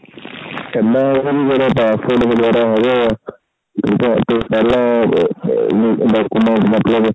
ਮੇਰਾ passport ਵਗੇਰਾ ਆਗਿਆ ਪਹਿਲਾਂ document ਮਤਲਬ